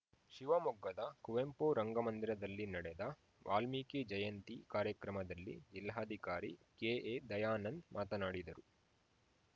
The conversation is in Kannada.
ಶಿವಮೊಗ್ಗದ ಕುವೆಂಪು ರಂಗಮಂದಿರದಲ್ಲಿ ನಡೆದ ವಾಲ್ಮೀಕಿ ಜಯಂತಿ ಕಾರ್ಯಕ್ರಮದಲ್ಲಿ ಜಿಲ್ಲಾಧಿಕಾರಿ ಕೆಎದಯಾನಂದ್‌ ಮಾತನಾಡಿದರು